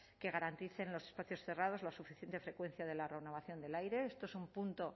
que garanticen en los espacios cerrados la suficiente frecuencia de la renovación del aire esto es un punto